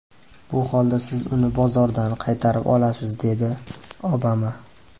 Bu holda siz uni bozordan qaytarib olasiz”, dedi Obama.